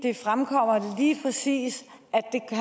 fremgår lige præcis